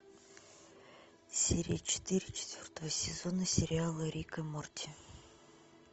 серия четыре четвертого сезона сериала рик и морти